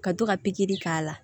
Ka to ka pikiri k'a la